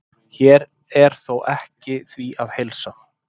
Hér er þó ekki því að heilsa.